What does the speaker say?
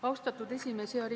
Austatud esimees!